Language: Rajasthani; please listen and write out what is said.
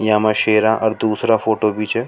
यह में शेरा और दुसरो फोटो भी छ।